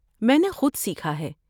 میں نے خود سیکھا ہے۔